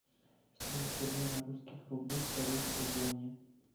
стоимость обмена русских рублей к корейской воне